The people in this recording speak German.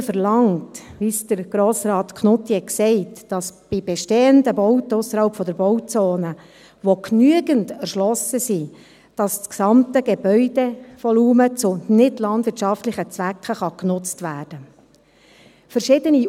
Die Standesinitiative verlangt – wie es Grossrat Knutti gesagt hat –, dass bei bestehenden Bauten ausserhalb der Bauzone, die genügend erschlossen sind, das gesamte Gebäudevolumen zu nichtlandwirtschaftlichen Zwecken genutzt werden kann.